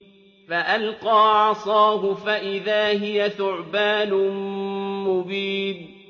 فَأَلْقَىٰ عَصَاهُ فَإِذَا هِيَ ثُعْبَانٌ مُّبِينٌ